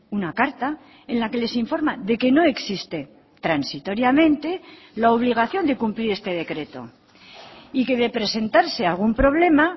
una carta en la que les informa de que no existe transitoriamente la obligación de cumplir este decreto y que de presentarse algún problema